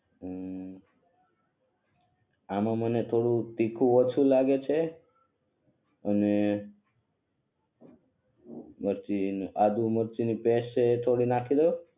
હુ આનો મને થોડુક તીખુ ઓછુ લાગે છે અને પછી આદુ મરચી ની પેસ્ટ પણ થોડી નાખી દવ